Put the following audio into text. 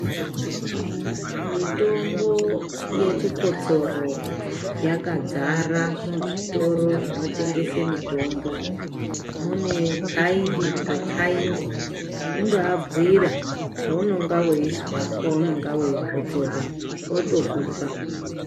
Mitombo yechikotsoro yakadzara muzvitoro zvinotengese mitombo mune kaindi ngekaindi, kundoabhuira zvounonga veizwa paunenga veikotsora votokupa.